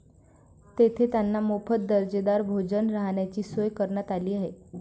तेथे त्यांना मोफत दर्जेदार भोजन, राहण्याची सोय करण्यात आली आहे.